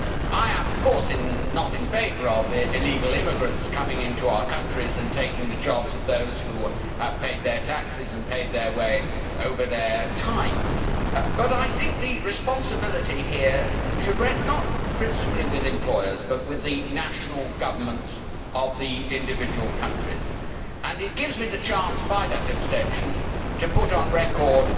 I am, of course, not in favour of illegal immigrants coming into our countries and taking the jobs of those who have paid their taxes and paid their way over time, but I think the responsibility here should rest not principally with employers but with the national governments of the individual countries. It gives me the chance, by that abstention, to put on record